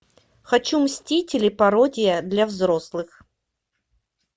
хочу мстители пародия для взрослых